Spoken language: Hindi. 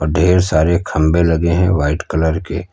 ढेर सारे खंबे लगे हैं व्हाइट कलर के--